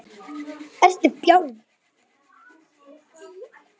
Það er fyndið.